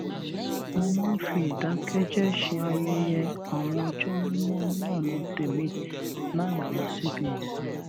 mo máa ń fi ìdákéjéé ṣe ayẹyẹ àwọn ọjó mímó ní ònà tèmi láì lọ síbi ìsìn